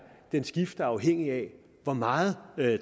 skifter afhængigt af hvor meget